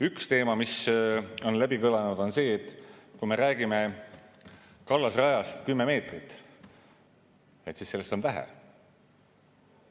Üks teema, mis on kõlanud, on see, et kui me räägime kallasrajast 10 meetrit, siis sellest on vähe.